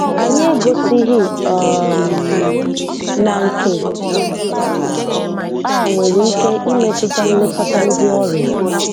“Anyị egosighi um na nke a nwere ike imetụta nlekọta ndị ọrịa